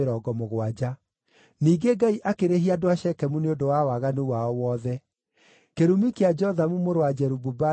Ningĩ Ngai akĩrĩhia andũ a Shekemu nĩ ũndũ wa waganu wao wothe. Kĩrumi kĩa Jothamu mũrũ wa Jerubu-Baali gĩkĩmacookerera.